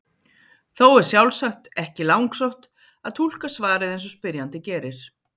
Þó er sjálfsagt ekki langsótt að túlka svarið eins og spyrjandi gerir.